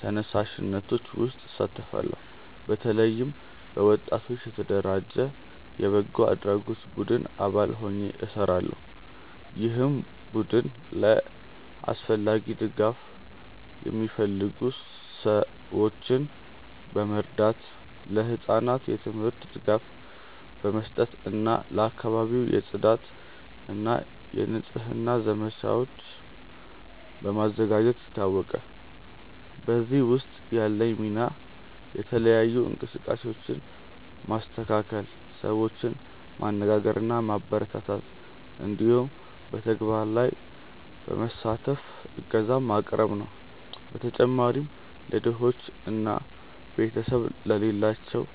ተነሳሽነቶች ውስጥ እሳተፋለሁ። በተለይም በወጣቶች የተደራጀ የበጎ አድራጎት ቡድን አባል ሆኜ እሰራለሁ፣ ይህም ቡድን ለአስፈላጊ ድጋፍ የሚፈልጉ ሰዎችን በመርዳት፣ ለህጻናት የትምህርት ድጋፍ በመስጠት እና ለአካባቢው የጽዳት እና የንጽህና ዘመቻዎችን በማዘጋጀት ይታወቃል። በዚህ ውስጥ ያለኝ ሚና የተለያዩ እንቅስቃሴዎችን ማስተካከል፣ ሰዎችን ማነጋገር እና ማበረታታት እንዲሁም በተግባር ላይ በመሳተፍ እገዛ ማቅረብ ነው። በተጨማሪም ለድሆች እና ቤተሰብ ለሌላቸው